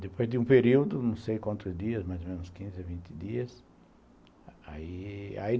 Depois de um período, não sei quantos dias, mais ou menos quinze, vinte dias.